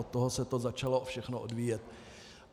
Od toho se to začalo všechno odvíjet.